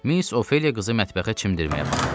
Miss Ofeliya qızı mətbəxə çimdirməyə apardı.